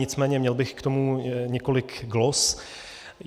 Nicméně měl bych k tomu několik glos.